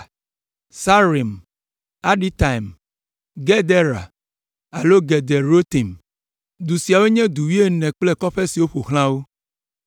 Saaraim, Aditaim, Gedera (alo Gederotaim). Du siawo nye du wuiene kple kɔƒe siwo ƒo xlã wo.